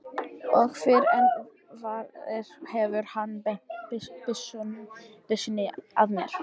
Og fyrr en varir hefur hann beint byssunni að mér.